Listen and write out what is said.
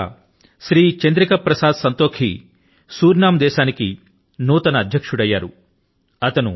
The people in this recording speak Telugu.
ఇటీవల శ్రీ చంద్రిక ప్రసాద్ సంతోఖీ సురినామ్ యొక్క నూతన అధ్యక్షుడు అయ్యారు